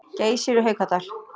Geysir í Haukadal.